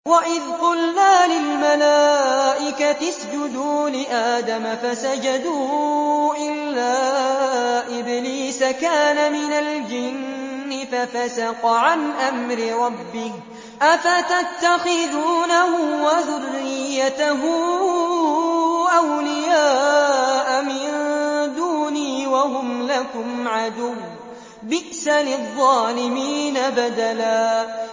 وَإِذْ قُلْنَا لِلْمَلَائِكَةِ اسْجُدُوا لِآدَمَ فَسَجَدُوا إِلَّا إِبْلِيسَ كَانَ مِنَ الْجِنِّ فَفَسَقَ عَنْ أَمْرِ رَبِّهِ ۗ أَفَتَتَّخِذُونَهُ وَذُرِّيَّتَهُ أَوْلِيَاءَ مِن دُونِي وَهُمْ لَكُمْ عَدُوٌّ ۚ بِئْسَ لِلظَّالِمِينَ بَدَلًا